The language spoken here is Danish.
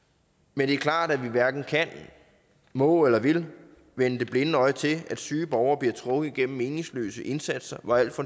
men det er klart at vi hverken kan må eller vil vende det blinde øje til at syge borgere bliver trukket igennem meningsløse indsatser hvor al